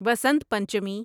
Vasant Panchami